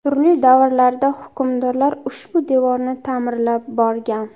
Turli davrlarda hukmdorlar ushbu devorni ta’mirlab borgan.